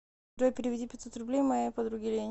джой переведи пятьсот рублей моей подруге лене